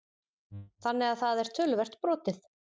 Þannig að það er töluvert brotið?